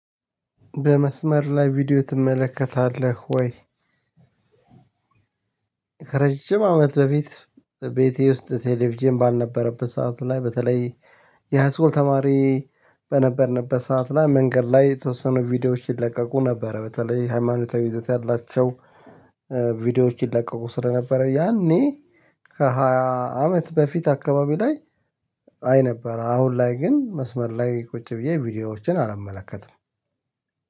በመስመር ላይ ቪዲዮ ትመለከታለህ ወይ? ረጅም አመት በፊት ቤቴ ውስጥ ቴሌቪዥን ባልነበረበት ሰዓቱ ላይ በተለይ የሃይስኮል ተማሪ በነበርንበት ሰዓት ላይ መንገድ ላይ የተወሰኑ ቪዲዮዎች ይለቀቁ ነበር በተለይ ሃይማኖታዊ ይዘት ያላቸው ቪዲዮዎች ይለቀቁ ስለነበረ ያኔ ከሃያ አመት በፊት አካባቢ ላይ አይ ነበር። አሁን ላይ ግን መስመር ላይ ቁጭ ብዬ ቪዲዮዎችን አላመለከትም